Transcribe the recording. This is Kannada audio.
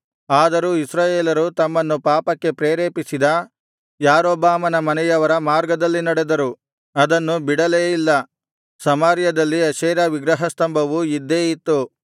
ಆದರೂ ಇಸ್ರಾಯೇಲರು ತಮ್ಮನ್ನು ಪಾಪಕ್ಕೆ ಪ್ರೇರೇಪಿಸಿದ ಯಾರೊಬ್ಬಾಮನ ಮನೆಯವರ ಮಾರ್ಗದಲ್ಲಿ ನಡೆದರು ಅದನ್ನು ಬಿಡಲೇ ಇಲ್ಲ ಸಮಾರ್ಯದಲ್ಲಿ ಅಶೇರ ವಿಗ್ರಹಸ್ತಂಭವು ಇದ್ದೇ ಇತ್ತು